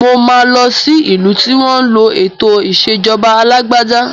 Mo máa lọ sí ìlú tí wọn ń lò ètò ìsèjọba alàgbàda